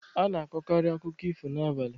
A na-akọkarị akụkọ ifo n'abalị.